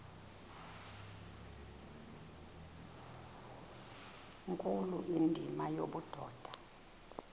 nkulu indima yobudoda